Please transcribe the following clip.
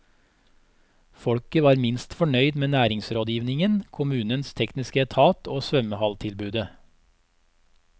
Folket var minst fornøyd med næringsrådgivningen, kommunens tekniske etat og svømmehalltilbudet.